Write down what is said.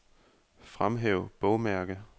Fremhæv bogmærke.